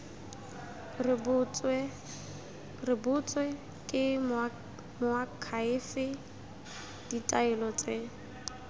rebotswe ke moakhaefe ditaelo tse